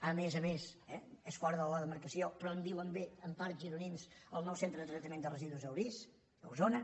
a més a més és fora de la de·marcació però en diuen bé en part gironins el nou centre de tractament de residus a orís a osona